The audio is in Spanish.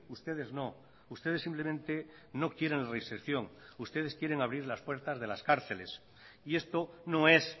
ustedes no ustedes simplemente no quieren reinserción ustedes quieren abrir las puertas de las cárceles y esto no es